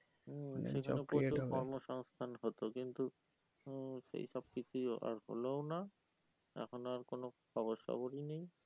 কর্ম সংস্থান হতো কিন্তু মম সেই সব কিছুই আর হলোও না এখন আর কোনো খবর সবরি নেই